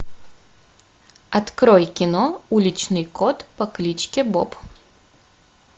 открой кино уличный кот по кличке боб